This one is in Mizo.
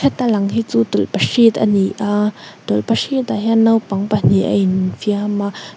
ta lang hi chu tawlhpahrit a ni a tawlhpahrit ah hian naupang pahnih an infiam a.